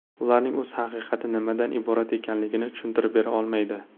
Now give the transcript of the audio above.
Ular o‘z haqiqati nimadan iborat ekanligini tushuntirib bera olmaydi.